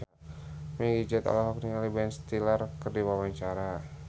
Meggie Z olohok ningali Ben Stiller keur diwawancara